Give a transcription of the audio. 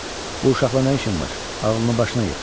Bu uşaqla nə işim var, ağlını başına yığ.